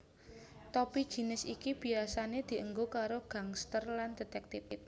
Topi jinis iki biasane dienggo karo gangsters lan detèktif